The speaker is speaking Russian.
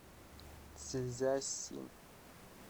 цзясин